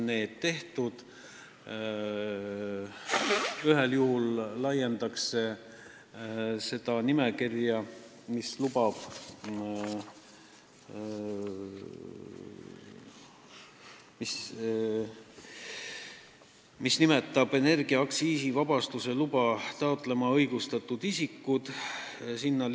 Üks ettepanek on täiendada seda nimekirja, kus on loetletud isikud, kes on õigustatud taotlema energia aktsiisivabastuse luba.